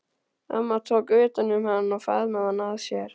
Amma tók utan um hann og faðmaði hann að sér.